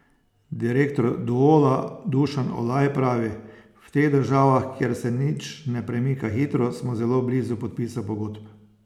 Direktor Duola Dušan Olaj pravi: 'V teh državah, kjer se nič ne premika hitro, smo zelo blizu podpisa pogodb.